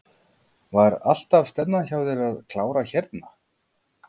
Var alltaf stefnan hjá þér að klára hérna?